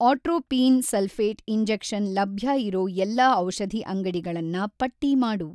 Atropine sulphate injection ಲಭ್ಯ ಇರೋ ಎಲ್ಲಾ ಔಷಧಿ ಅಂಗಡಿಗಳನ್ನ ಪಟ್ಟಿ ಮಾಡು.